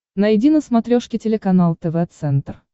найди на смотрешке телеканал тв центр